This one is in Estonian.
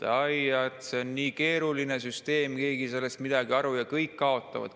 et see on nii keeruline süsteem, keegi ei saa sellest midagi aru ja kõik kaotavad.